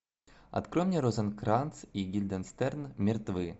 открой мне розенкранц и гильденстерн мертвы